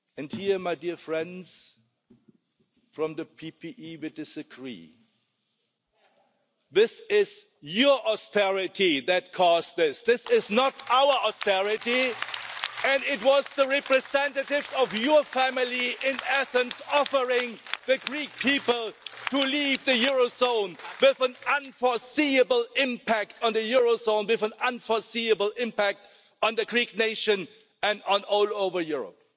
Here my dear friends from the PPE will disagree, but it is your austerity that caused this, it is not our austerity and it was the representatives of your family in Athens offering the Greek people to leave the Eurozone with an unforeseeable impact on the Eurozone, with an unforeseeable impact on the Greek nation and all over Europe.